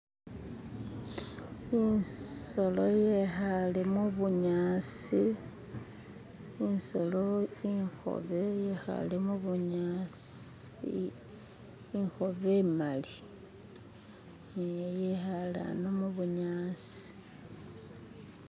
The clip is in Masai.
Isolo yekhale mubunyasi isolo ikhobe yekhale mubunyasi ikhobe imali yekhale ano mubunyasi.